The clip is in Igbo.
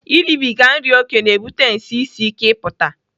Ịrịbịga nri oke na-ebute nsị isi ike ịpụta.